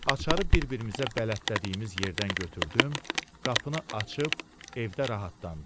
Açarı bir-birimizə bələtdədiyimiz yerdən götürdüm, qapını açıb evdə rahatlandım.